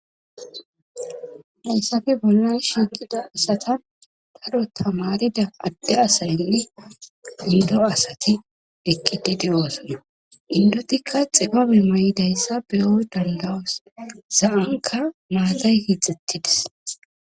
Hayssafe bollan shiiqida asata daro tamarida adde asayynne indo asati ekkidi de'osona indotikka xibabe ma'idayssa beyo dandawos izanka maatay hixettides